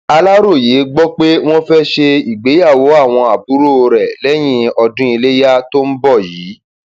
aláròye gbọ pé wọn fẹẹ ṣe ìgbéyàwó àwọn àbúrò rẹ lẹyìn ọdún ilẹyà tó ń bọ yìí